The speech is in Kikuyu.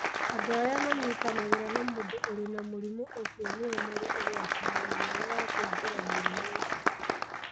Andũ arĩa manyitanagĩra na mũndũ ũrĩ na mũrimũ ũcio nĩo marĩ ũgwati-inĩ mũnene wa kũingĩra mũrimũ ũcio.